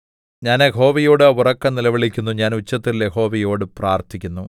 ഞാൻ യഹോവയോട് ഉറക്കെ നിലവിളിക്കുന്നു ഞാൻ ഉച്ചത്തിൽ യഹോവയോട് പ്രാർത്ഥിക്കുന്നു